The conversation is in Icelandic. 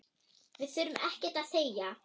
Við þurftum ekkert að segja.